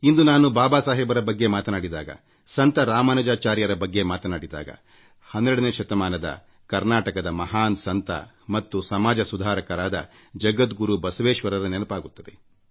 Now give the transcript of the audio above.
ಇಂದು ನಾನು ಬಾಬಾ ಸಾಹೇಬರ ಬಗ್ಗೆ ಮಾತನಾಡಿದಾಗ ಸಂತ ರಾಮಾನುಜಾಚಾರ್ಯರ ಬಗ್ಗೆ ಮಾತನಾಡಿದಾಗ 12ನೇ ಶತಮಾನದ ಕರ್ನಾಟಕದ ಮಹಾನ್ ಮಾನವತಾವಾದಿ ಮತ್ತು ಸಮಾಜ ಸುಧಾರಕರಾದ ಜಗದ್ಗುರು ಬಸವೇಶ್ವರರ ನೆನಪಾಗುತ್ತದೆ